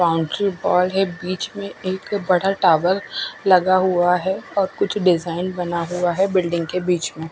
boundary wall है बिच में एक बड़ा टावर लगा हुआ है और कुछ डिजाईन बना हुआ है बिल्डिंग के बिच में--